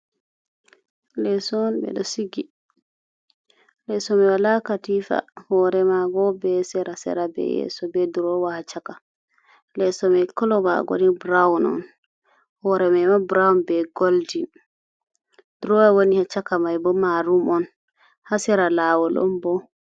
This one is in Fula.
Leso on ɓe ɗo sigi. Leso mai wala katifa hore maga be sera sera be yeso be drowa ha chaka. Leso mai kolo mago ni brawn on hore maima brawn be goldin drowa woni ha chaka mai bo marum on ha sera lawol on bo.